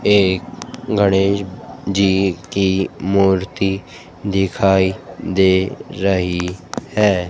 एक गणेश जी की मूर्ति दिखाई दे रही है।